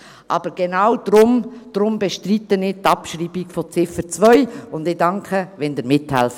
Aber genau deshalb bestreite ich die Abschreibung von Ziffer 2, und ich danke, wenn ihr mithelft.